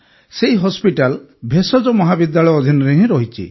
ସେହି ହସ୍ପିଟାଲ ଭେଷଜ ମହାବିଦ୍ୟାଳୟ ଅଧିନରେ ହିଁ ରହିଛି